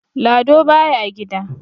Lado baya gida.